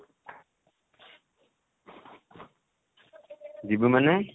ଯିବୁ ମାନେ?